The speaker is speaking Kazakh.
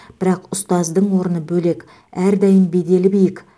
бірақ ұстаздың орны бөлек әрдайым беделі биік